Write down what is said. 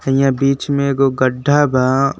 हइयां बीच में एगो गढ्ढा बा।